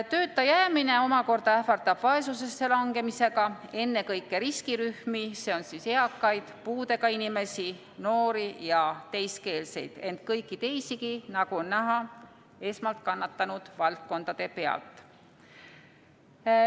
Tööta jäämine omakorda ähvardab vaesusesse langemisega ennekõike riskirühmi, st eakaid, puudega inimesi, noori ja teiskeelseid, ent kõiki teisigi, nagu on näha esmalt kannatanud valdkondade pealt.